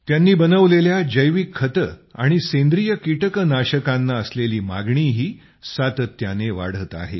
त्यांनी बनवलेल्या जैविक खते आणि सैन्द्रिय कीटकनाशकांना असलेली मागणीही सातत्याने वाढत आहे